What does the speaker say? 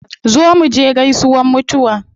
Zo muje gaisuwan mutuwa